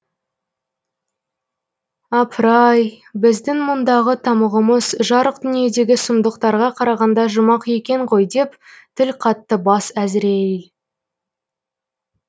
апырай ай біздің мұндағы тамұғымыз жарық дүниедегі сұмдықтарға қарағанда жұмақ екен ғой деп тіл қатты бас әзірейіл